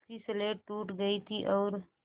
उसकी स्लेट टूट गई थी और